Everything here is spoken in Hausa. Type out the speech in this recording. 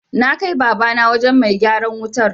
Na kai Babana wajen mai gyaran wutar.